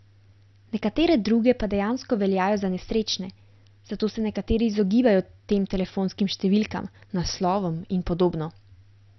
Nekatere druge pa dejansko veljajo za nesrečne, zato se nekateri izogibajo tem telefonskim številkam, naslovom in podobno.